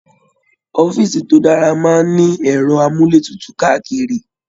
Ọ̀fiísí tó dára máa n ní ẹrọ amuletutu káàkiri.